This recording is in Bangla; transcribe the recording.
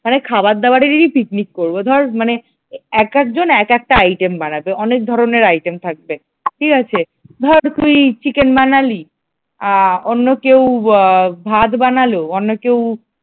মানে খাবার-দাবারেরই পিকনিক করবো ধর মানে এক একজন এক একটা item বানাবে, অনেক ধরনের item থাকবে। ঠিক আছে ধর তুই চিকেন বানালি, আ অন্য কেউ ভাত বানালো, অন্য কেউ